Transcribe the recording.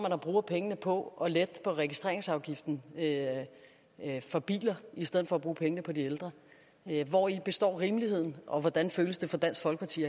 at bruge pengene på at lette registreringsafgiften på biler i stedet for at bruge pengene på de ældre hvori består rimeligheden og hvordan føles det for dansk folkeparti